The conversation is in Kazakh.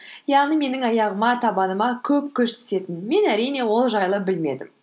яғни менің аяғыма табаныма көп күш түсетін мен әрине ол жайлы білмедім